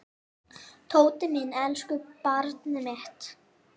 Tóti minn, elsku barnið mitt.